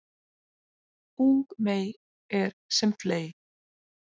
Ung mey er sem fley